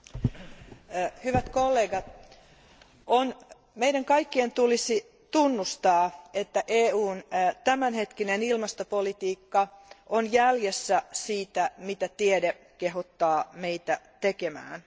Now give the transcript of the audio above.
Arvoisa puhemies, hyvät kollegat, meidän kaikkien tulisi tunnustaa, että EUn tämänhetkinen ilmastopolitiikka on jäljessä siitä, mitä tiede kehottaa meitä tekemään.